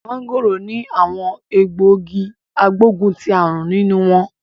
Mangoro ni awon egbogi agboguntiarun ninu won